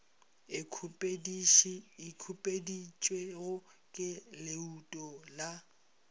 e khupeditšwego ke leuto la